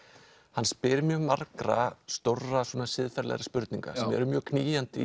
hann spyr mjög margra stórra svona siðferðilegra spurninga sem eru mjög knýjandi í